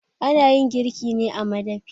A nayin girki ne a madafi